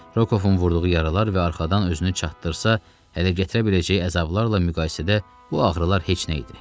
Rokovun vurduğu yaralar və arxadan özünü çatdırsa hələ gətirə biləcəyi əzablarla müqayisədə bu ağrılar heç nə idi.